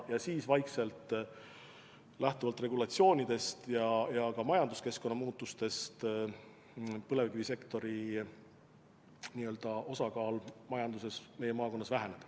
Ja siis vaikselt lähtuvalt regulatsioonidest ja ka majanduskeskkonna muutustest põlevkivisektori osakaal majanduses meie maakonnas väheneb.